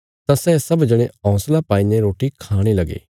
तां सै सब जणे हौंसला पाईने रोटी खाणे लगे